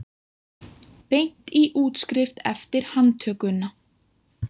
Beint í útskrift eftir handtökuna